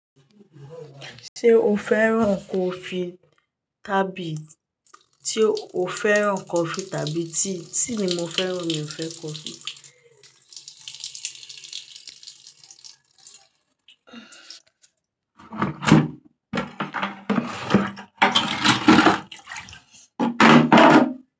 Ṣé o fẹ́ràn kofí tàbí ṣe o fẹ́ràn kọfí tàbí tíì? Tíì ni mo fẹ́ràn, mi ò fẹ́ kọfí.